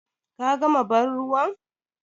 Ka gama bar ruwan?